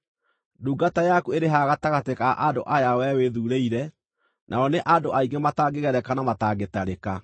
Ndungata yaku ĩrĩ haha gatagatĩ ka andũ aya wee wĩthuurĩire, nao nĩ andũ aingĩ matangĩgereka na matangĩtarĩka.